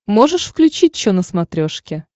можешь включить че на смотрешке